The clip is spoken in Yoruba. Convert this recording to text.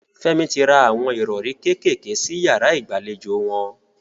Fẹ́mi ti ra awọn ìrọrí kékèké sí yàrá ìgbàlejò wọn.